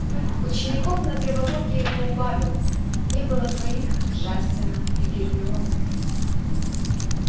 учеников на травологии поубавилось не было двоих джастина и гермионы